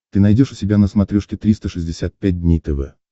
ты найдешь у себя на смотрешке триста шестьдесят пять дней тв